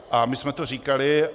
A my jsme to říkali.